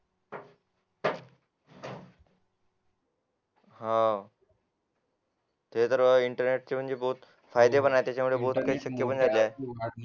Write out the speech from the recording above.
हा ते तर इंटरनेट चे म्हणजे बोथ फायदे पण आहेत